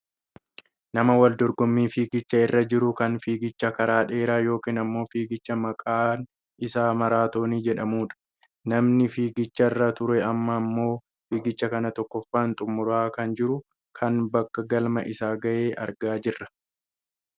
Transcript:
Nama wal dorgommii fiigichaa irra jiru kan fiigicha karaa dheeraa yookaan ammoo fiigicha maqaan isaa maraatoonii jedhamudha. Namni fiigicharra ture amma ammoo fiigicha kana tokkoffaan xummuraa kan jiru kan bakka galma isaa gahe argaa jirra.